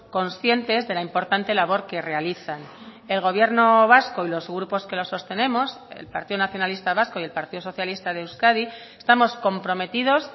conscientes de la importante labor que realizan el gobierno vasco y los grupos que lo sostenemos el partido nacionalista vasco y el partido socialista de euskadi estamos comprometidos